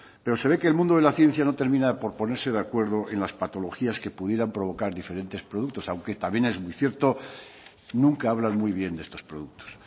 pero se ve que el mundo de la ciencia no termina por ponerse de acuerdo en las patologías que pudieran provocar diferentes productos aunque también es muy cierto nunca hablan muy bien de estos productos